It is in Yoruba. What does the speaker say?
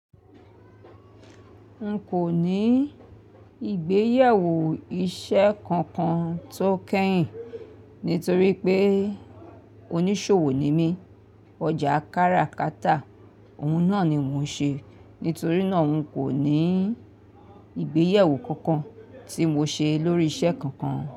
N kò ní ìgbéyàwó iṣẹ́ kankan tó kẹ́yìn nítorí pé oníṣòwò ni mí. Ọjà kára kátà òun náà ni mò ń ṣe. Nítorí náà n kò ní ìgbéyewó kankan tí mò ń ṣe lórí iṣẹ́ kankan.